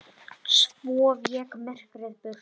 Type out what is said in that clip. Svo vék myrkrið burt.